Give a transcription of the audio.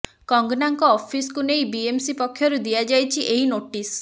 କଙ୍ଗନାଙ୍କ ଅଫିସ୍କୁ ନେଇ ବିଏମ୍ସି ପକ୍ଷରୁ ଦିଆଯାଇଛି ଏହି ନୋଟିସ୍